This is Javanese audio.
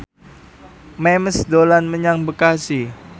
Memes dolan menyang Bekasi